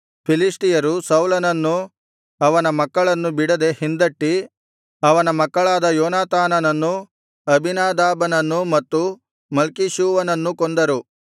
ಫಿಲಿಷ್ಟಿಯರು ಸೌಲನನ್ನೂ ಅವನ ಮಕ್ಕಳನ್ನೂ ಬಿಡದೆ ಹಿಂದಟ್ಟಿ ಅವನ ಮಕ್ಕಳಾದ ಯೋನಾತಾನನ್ನೂ ಅಬೀನಾದಾಬನನ್ನೂ ಮತ್ತು ಮಲ್ಕೀಷೂವನನ್ನೂ ಕೊಂದರು